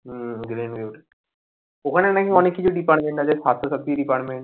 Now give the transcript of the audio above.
হম Greenview তে ওখানে নাকি অনেক কিছু department আছে সাস্থ্য সাথী department